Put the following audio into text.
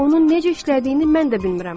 Onun necə işlədiyini mən də bilmirəm.